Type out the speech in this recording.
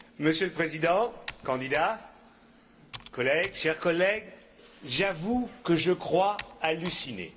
Monsieur le Président, candidat, collègues, chers collègues, j'avoue que je crois halluciner.